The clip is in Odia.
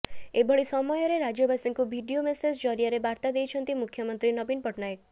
ଏଭଳି ସମୟରେ ରାଜ୍ୟବାସୀଙ୍କୁ ଭିଡିଓ ମେସେଜ ଜରିଆରେ ବାର୍ତ୍ତା ଦେଇଛନ୍ତି ମୁଖ୍ୟମନ୍ତ୍ରୀ ନବୀନ ପଟ୍ଟନାୟକ